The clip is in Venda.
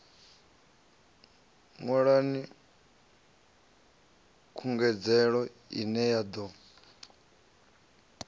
ṅwalani khungedzelo ine ya ḓo